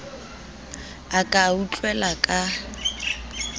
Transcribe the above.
a ka a utlwela ka